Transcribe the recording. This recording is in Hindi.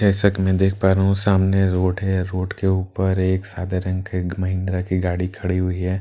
जैसा कि मैं देख पा रहा हूं सामने रोड है रोड के ऊपर एक सादा रंग के की महिंद्रा की गाड़ी खड़ी हुई है आास-पास--